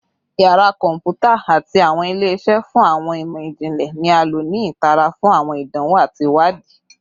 Yara kọnputa ati awọn ile-iṣẹ fun awọn imọ-jinlẹ ni a lo ni itara fun awọn idanwo ati iwadii